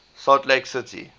salt lake city